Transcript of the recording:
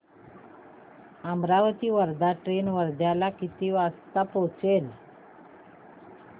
Amravati Wardha train वर्ध्याला किती वाजता पोहचेल